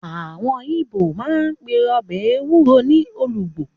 Àwọn ibo máa ń pe ọbẹ̀ ẹwúro ní olugbo.